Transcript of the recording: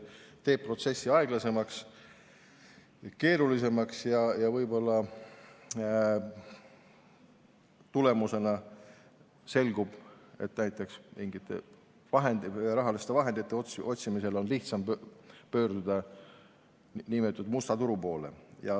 See teeb protsessi aeglasemaks ja keerulisemaks ning võib-olla selgub, et mingite rahaliste vahendite otsimisel on lihtsam pöörduda mustale turule.